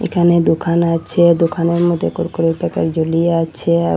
এখানে দুখান আছে দুখানের মদ্যে কুরকুরের প্যাকেট জুলিয়ে আছে আও।